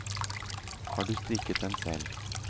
Har du strikket den selv?